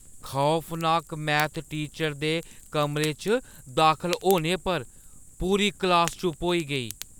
खौफनाक math teacher दे कमरे च दाखल होने पर पूरी क्लास चुप होई गेई।